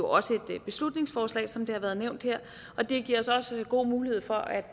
også på et beslutningsforslag som det har været nævnt her det giver os også god mulighed for at